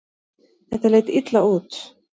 Þetta leit illa út.